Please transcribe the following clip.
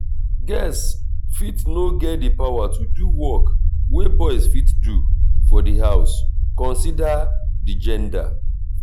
girls fit no get di power to do work wey boys fit do for di house consider di gender